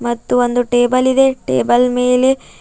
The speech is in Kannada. ಮತ್ತು ಒಂದು ಟೇಬಲ್ ಇದೆ ಟೇಬಲ್ ಮೇಲೆ--